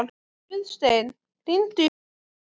Guðstein, hringdu í Bæron.